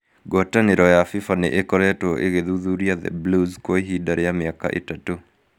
Ngwatanĩro ya FIFA nĩ ĩkoretwo ĩgĩthuthuria The Blues kwa ihinda rĩa mĩaka ĩtatũ.